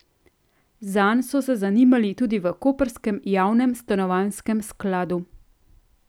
Zanj so se zanimali tudi v koprskem javnem stanovanjskem skladu.